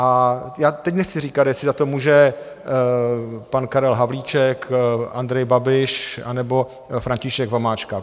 A já teď nechci říkat, jestli za to může pan Karel Havlíček, Andrej Babiš, anebo František Vomáčka.